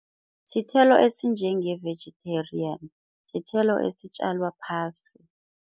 Sithelo esinjenge-vegetarian. Sithelo esitjalwa phasi.